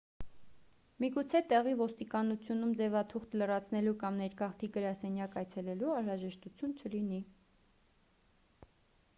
միգուցե տեղի ոստիկանությունում ձևաթուղթ լրացնելու կամ ներգաղթի գրասենյակ այցելելու անհրաժեշտություն լինի